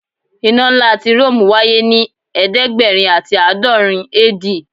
Ina nla ti Rome waye ni ẹdẹgbẹrin ati aadọrin AD